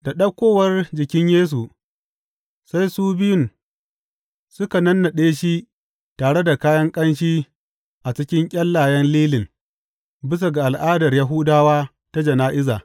Da ɗaukowar jikin Yesu, sai su biyun suka nannaɗe shi tare da kayan ƙanshi a cikin ƙyallayen lilin bisa ga al’adar Yahudawa ta jana’iza.